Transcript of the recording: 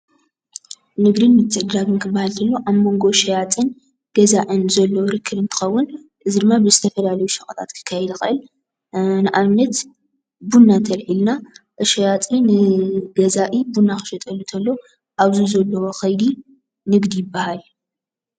ንግዲ ምትዕድዳግን ክባሃል እንተሎ ኣብ ሞንጎ ሸያጥን ገዛእን ዘሎ ርክብ እንትከውን እዚ ድማ ብዝተፈላለዩ ሸቀጣት ክካየድ ይክእል። ንኣብነት ቡና እንተኣሊዒልና ንሸያጥን ንገዛኢ ቡና ክሸጠሉ እንተሎ ኣብዚ ዘሎ ከይዲ ንግዲ ይብሃል ።